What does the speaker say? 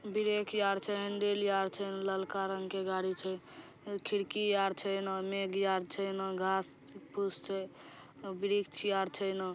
Brake यार छै handle यार छै ना ललका रंग के गाड़ी छै खिड़की आर छै नामेघ आर छै ना इने घास पुश छै ना वृक्ष आर छै।